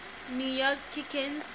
new york knicks